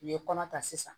U ye kɔnɔ ta sisan